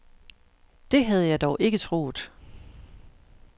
Det havde jeg dog ikke troet.